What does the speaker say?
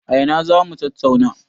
A ina za mu tattauna?